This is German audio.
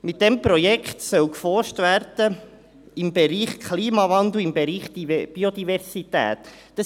Mit diesem Projekt soll in den Bereichen Klimawandel und Biodiversität geforscht werden.